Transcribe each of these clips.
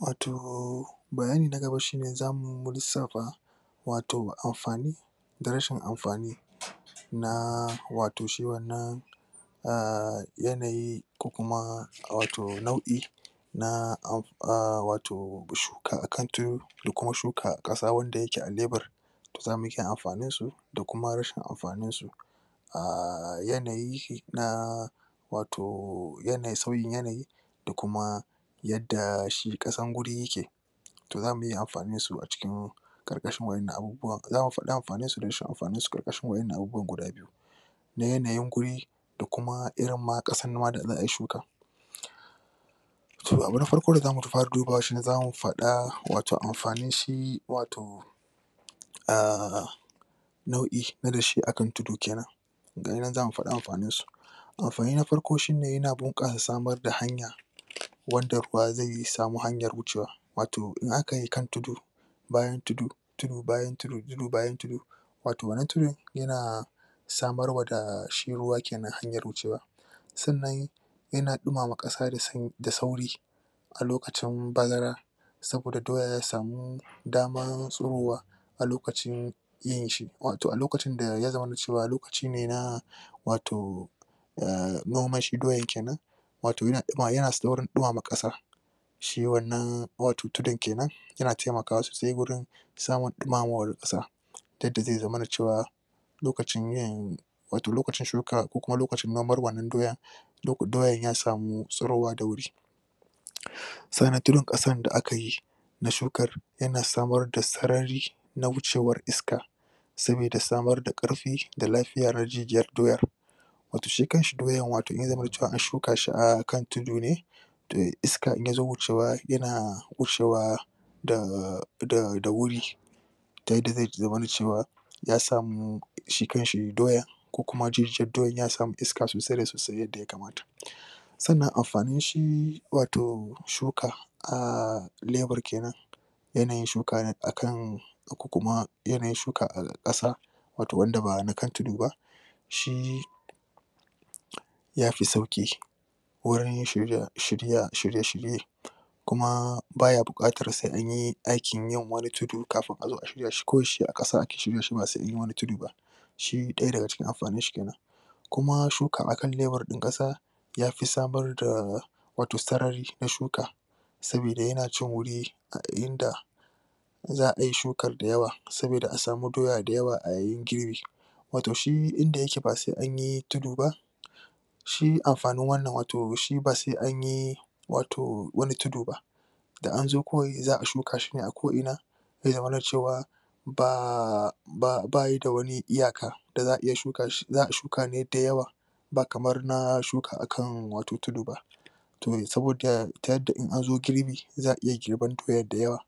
Wato bayani na gaba, za mu lisafa wato amfani da rashin amfani na, wato shi wannan a yanayi ko kuma wato nau'i na wato shuka akan da kuma shuka a kasa wanda yake a kan lebar amfanin su da kuma rashin amfanin su a yanayi na wato, yanayi, sauyin yanayi da kuma yadda shi kasan wuri yakke toh za muyi amfanin su a cikin karkashin wadannan abubuwan, za mu fada amfanin su da rashin amfanin su karkashin wadanna abubuwan guda biyu. Na yanayin wuri, da kuma irin ma kasan ma da za a shuka so abu na farko da za mu fara dubawa shi ne za mu fada wato amfanin shi, wato a' nau'i na dashe a kan tudu kenan gani nan za mu fada amfanin su Amfani na farko shi ne yana bunka samar da hanya, wanda ruwa zai samu hanyar wucewa, wato in aka yi kan tudu, bayan tudu, bayan tudu wato wannan tudu yana samarwa da shi ruwa kenan, hanyar wucewa, sannan yana duma ma kasa da sauri a lokacin bazara saboda doya ya samu daman surowa a lokacin yin shi wato a lokacin da ya zamana cewa lokacin ne na wato. noman shi doyan kenan wato yana saurin dumama kasa shi wannan wato tudun kenan, yana taimaka sosai wurin samar dumama kasa. yadda zai zamana cewa, lokacin yin wato lokacin shuka ko lokacin nomar wannan doyan doyan ya samu tsurowa da wuri Tsannan tudun kasan da aka yi, na shukar yana samar da tsarari na wucewar iska saboda samar da karfi da lafiyar rajijiyar doyar wato shi kan shi doyan zai zama cewa an shuka shi a kan tudu ne da iska in ya zo wucewa, yana wucewa da wuri. da yadda zai zamana cewa ya samu shi kan shi doyan ko kuma jijiyan doyan ya samu iska sosai da sosai yadda ya kamata sannan amfani shi wato shuka a lebar kenan yanayin shuka akan ko kuma yanayin shuka a kasa wato wanda ba akan tudu ba shi ya fi sauki wurin shirye-shirye kuma baya bukatar sai anyi aikin yin wani tudu duk kafin a zo a shirya shi ko shi a kasa aka shirya shi ba zai anyi wani tudu ba. Shi daya daga cikin amfanin shi kenan. kuma shuka a kan lebar din kasa ya fi sabar da wato tsarrari na shuka sabodi yana cin wuri inda za'a yi shukar da yawa, saboda a samu doya da yawa a yi girbi wato shi inda yake ba sai anyi tudu ba shi amfanin wannan wato shi ba sai anyi wato wani tudu ba. Da an zo kawai, za'a shuka shi ne a ko ina ze zamana cewa ba baya da wani iyaka da za'a iya shuka shi, za a shuka ne da yawa ba kamar na shuka a kan wato tudu ba toh saboda in an zo girbi, za a iya girban doyan da yawa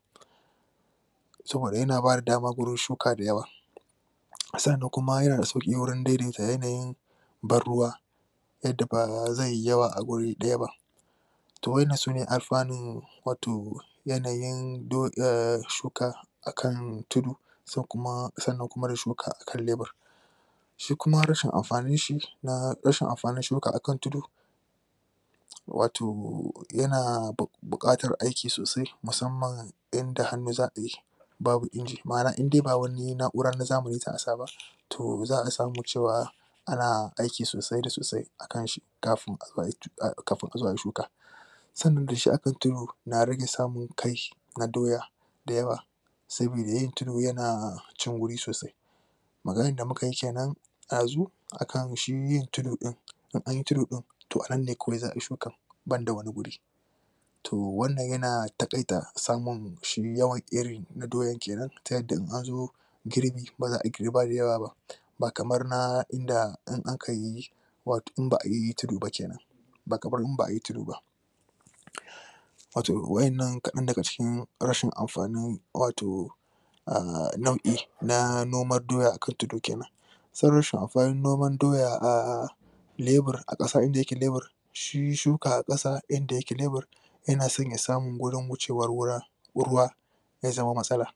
saboda yana ba da dama shuka da yawa a tsannan kuma yana da sauki wurin daidaita yanayin bar ruwa yadda ba zai yi yawa a wuri daya ba toh wadannan sune amfanin wato yanayin shuka akan tudun tsannan kuma da shuka akan lebar shi kuma rashin amfanin shi, na rashin amfanin shuka a kan tudun wato, yana bukatar aiki sosai musamman inda za'a yi shi babu inji ma'ana in de ba wani na'ura na zamani za a sa ba toh za a cewa ana aiki sosai da sosai akan shi kafin a zo ayi shuka. sannan da shi aka na rage samun na doya da yawa. saboda yin tudu yana cin wuri sosai Maganan da muka yi kenan dazu, akan shi yin tudu din, in anyi tudu din toh a nan ne kawai za'a yi shukan banda wani wuri. Toh wannan yana takaita samun shi yawan irin doyan kenan ta yadda in an zo girbi, ba za'a girba da yawa ba ba kaman inda in aka yi ba kamar in ba'a yi tudu ba. Wato wadannan kadan daga cikin rashin amfanin, wato a nau;i na noman doya a kan tudu kenan sai rashin amfanin noman doyan a lebar a kasan da yake lebar shi shuka a kasa inda yake lebar yana so ya samun wurin wucewar ruwa ya zama matsala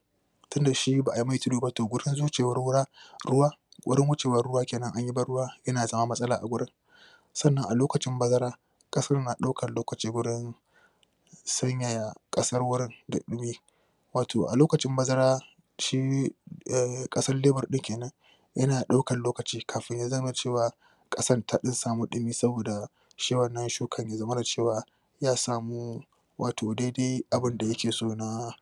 tun da shi ba'a mai tudu ba to wurin wecewar ruwa ruwa wurin wecewar ruwa kenan anyi bar ruwa yana zama matsala a wurin Tsannan a lokacin bazara, kasan na daukan lokaci wurin sanya kasar wurin da dumi wato a lokacin bazara, shi, kasar lebar din kenan yana daukan lokaci kafin ya zama cewa kasan ta dan samu dumi saboda shi wannan shukan ya zamana cewa ya samu wato dai dai abun da yake so na